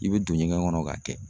I bɛ don ɲɛgɛn kɔnɔ k'a kɛ